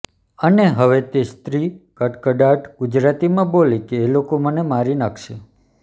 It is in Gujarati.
અને હવે તે સ્ત્રી કડકડાટ ગુજરાતીમાં બોલી કે એ લોકો મને મારી નાંખશે